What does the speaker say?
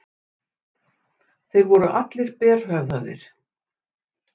Þeir voru allir berhöfðaðir.